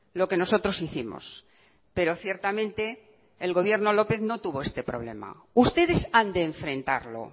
lo que nosotros hicimos pero ciertamente el gobierno lópez no tuvo este problema ustedes han de enfrentarlo